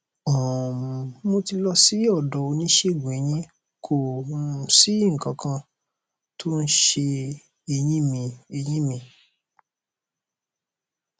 um mo ti lọ sí ọdọ oníṣègùneyín kò um sí nǹkan kan tó ń se eyín mi eyín mi